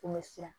Kun bɛ siran